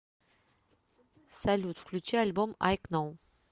салют включи альбом ай кноу